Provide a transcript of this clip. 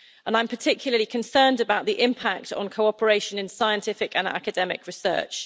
I'm particularly concerned about the impact on cooperation in scientific and academic research.